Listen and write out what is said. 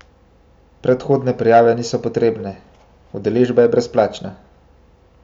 Predhodne prijave niso potrebne, udeležba je brezplačna!